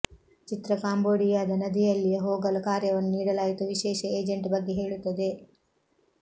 ಚಿತ್ರ ಕಾಂಬೋಡಿಯಾದ ನದಿಯಲ್ಲಿಯೇ ಹೋಗಲು ಕಾರ್ಯವನ್ನು ನೀಡಲಾಯಿತು ವಿಶೇಷ ಏಜೆಂಟ್ ಬಗ್ಗೆ ಹೇಳುತ್ತದೆ